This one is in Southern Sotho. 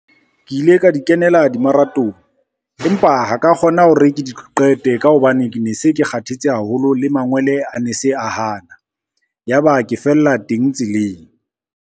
Ke ile ka di kenela di-marathon, empa ha ka kgona hore ke di qete ka hobane ke ne se ke kgathetse haholo, le mangwele a ne se a hana ya ba ke fella teng tseleng.